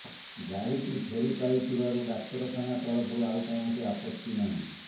ଗାଡ଼ିଟି ଫେରି ପାଇଥିବାରୁ ଡାକ୍ତରଖାନା ତରଫରୁ ଆଉ କୌଣସି ଆପତ୍ତି ନାହିଁ